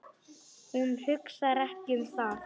Hún hugsar ekki um það.